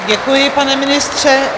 Děkuji, pane ministře.